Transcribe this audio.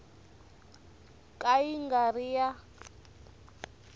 ka yi nga ri ya